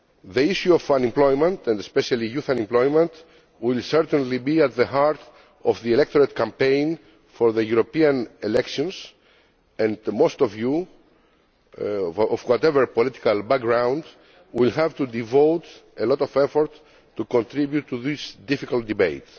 The issue of unemployment and especially youth unemployment will certainly be at the heart of the electoral campaign for the European elections, and most of you, from whatever political background, will have to devote a lot of effort to contributing to this difficult debate.